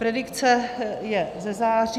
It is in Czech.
Predikce je ze září.